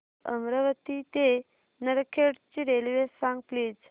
new Amravati ते नरखेड ची railway सांग प्लीज